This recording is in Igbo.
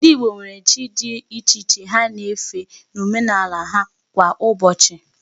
Ndị Igbo nwere chi dị iche iche ha na-efe n'omenala ha kwá Ụbọchị.